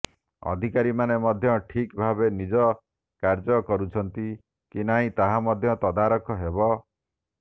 ଅଧିକାରୀମାନେ ମଧ୍ୟ ଠିକ୍ ଭାବେ ନିଜ କାର୍ଯ୍ୟ କରୁଛନ୍ତି କି ନାହିଁ ତାହାର ମଧ୍ୟ ତଦାରଖ ହେବ